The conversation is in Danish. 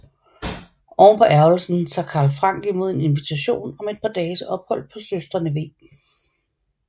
Ovenpå ærgerlsen tager Karl Frank imod en invitation om et par dages ophold på søstrene v